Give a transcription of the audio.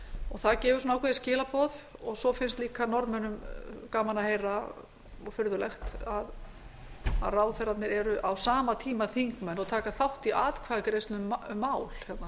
og það gefur ákveðin skilaboð og svo finnst líka norðmönnum gaman að heyra og furðulegt að ráðherrarnir eru á sama tíma þingmenn og taka þátt í atkvæðagreiðslum um mál